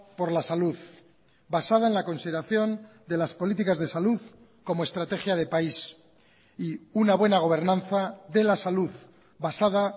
por la salud basada en la consideración de las políticas de salud como estrategia de país y una buena gobernanza de la salud basada